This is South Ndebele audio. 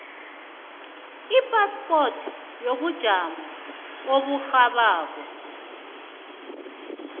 iphaspoti yobujamo oburhabako